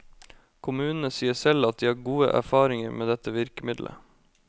Kommunene sier selv at de har gode erfaringer med dette virkemiddelet.